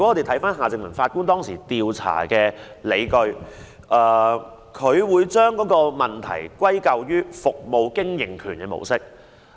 翻看夏正民法官當時調查的理據，他將問題歸咎於"服務經營權模式"。